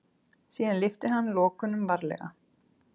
Síðan lyfti hann lokunum varlega.